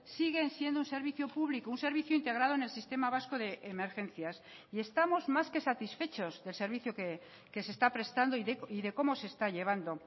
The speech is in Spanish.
siguen siendo un servicio público un servicio integrado en el sistema vasco de emergencias y estamos más que satisfechos del servicio que se está prestando y de cómo se está llevando